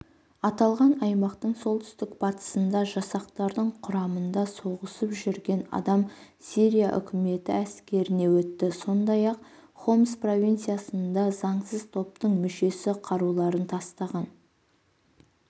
аталған аймақтың солтүстік-батысында жасақтардың құрамында соғысып жүрген адам сирия үкіметі әскеріне өтті сондай-ақ хомс провинциясында заңсыз топтың мүшесі қаруларын тастаған